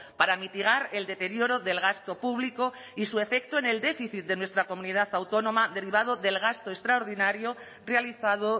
para mitigar el deterioro del gasto público y su efecto en el déficit de nuestra comunidad autónoma derivado del gasto extraordinario realizado